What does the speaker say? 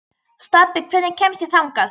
Stapi, hvernig kemst ég þangað?